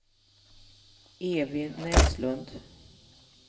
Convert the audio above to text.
Evy Näslund